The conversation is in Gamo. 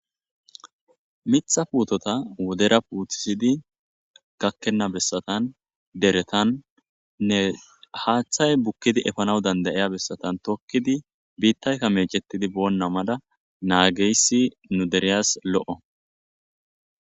Miththa puteta wodera putisidi wodera takena besatan deretan haththay bukidi efena besatan tokidi bitayka mechetidi bena mala nagigiyasi nuderiyas loo'